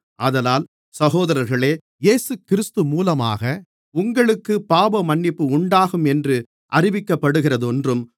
ஆதலால் சகோதரர்களே இயேசுகிறிஸ்து மூலமாக உங்களுக்குப் பாவமன்னிப்பு உண்டாகும் என்று அறிவிக்கப்படுகிறதென்றும்